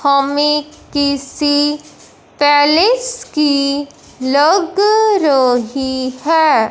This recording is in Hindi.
हमें किसी पैलेस की लग रहीं हैं।